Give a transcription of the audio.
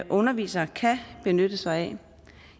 undervisere kan benytte sig af